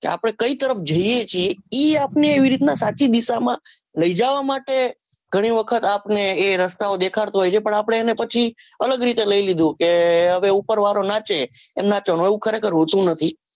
આપણે કઈ તરફ જઈએ ઈ આપને એવી રીતના સાચી દિશા માં લઈજવા માંટે ઘણીવખત આપણે એ રસ્તાઓ દેખાડતો હોય છે પણ આપણે એને પછી અલગ રીતે કે હવે ઉપર વાળો નાચે એમ નાચવાનું એવું ખરેખર હોતું નથી